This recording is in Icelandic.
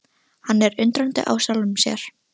Hann er undrandi á sjálfum sér.